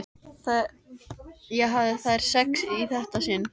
Ég hafði þær sex í þetta sinn.